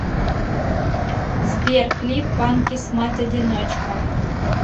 сбер клип панкисс мать одиночка